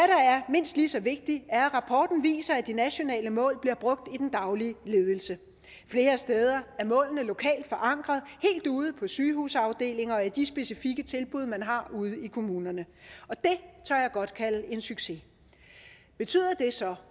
mindst lige så vigtigt er at rapporten viser at de nationale mål bliver brugt i den daglige ledelse flere steder er målene lokalt forankrede helt ude på sygehusafdelinger og i de specifikke tilbud man har ude i kommunerne det tør jeg godt kalde en succes betyder det så